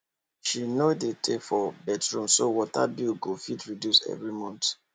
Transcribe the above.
she no dey tey for bathroom so water bill go fit reduce every month